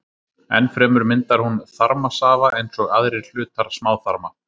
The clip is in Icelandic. Enn fremur myndar hún þarmasafa eins og aðrir hlutar smáþarma.